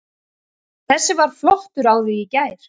Þessi var flottur á því í gær.